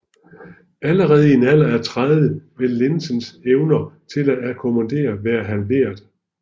Allerede i en alder af 30 vil linsens evne til at akkommodere være halveret